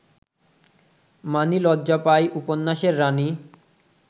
মানি লজ্জা পায় উপন্যাসের রানী